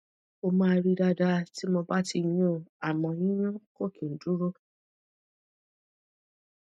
ó máa ri dada ti mo ba ti yun amo yiyun ko ki n duro